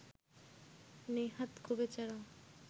নেহাত গোবেচারা